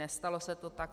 Nestalo se to tak.